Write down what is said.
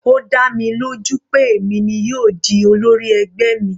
Ó dá mi lójú pé èmi ni yóò di olórí ẹgbẹ́ mi.